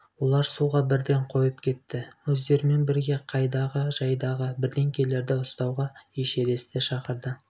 олар суға бірден қойып кетті өздерімен бірге қайдағы-жайдағы бірдеңелерді ұстауға эшересті шақырды